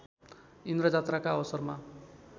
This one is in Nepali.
इन्द्रजात्राका अवसरमा